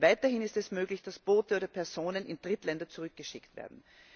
Weiterhin ist es möglich, dass Boote oder Personen in Drittländer zurückgeschickt werden.